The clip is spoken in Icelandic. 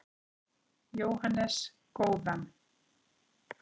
Jóhannes: Góðan?